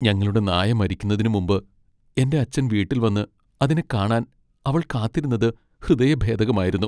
ഞങ്ങളുടെ നായ മരിക്കുന്നതിന് മുമ്പ് എന്റെ അച്ഛൻ വീട്ടിൽ വന്ന് അതിനെ കാണാൻ അവൾ കാത്തിരുന്നത് ഹൃദയഭേദകമായിരുന്നു.